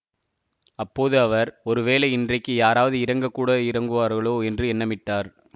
அப்போது அவர் ஒருவேளை இன்றைக்கு யாராவது இறங்கக்கூட இறங்குவார்களோ என்று எண்ணமிட்டார்